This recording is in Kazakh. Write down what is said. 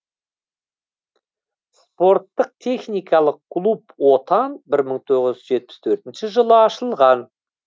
спорттық техникалық клуб отан бір мың тоғыз жүз жетпіс төртінші жылы ашылған